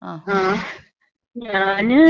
ങ്ങാ. ഞാന്...